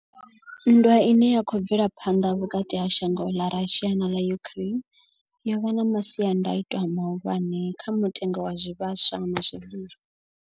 Nndwa ine ya khou bvela phanḓa vhukati ha shango ḽa Russia na ḽa Ukraine yo vha na masiandaitwa mahulwane kha mutengo wa zwivhaswa na zwiḽiwa.